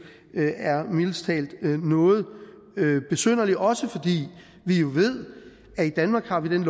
er mildest talt noget besynderlig også fordi vi jo ved at i danmark har vi den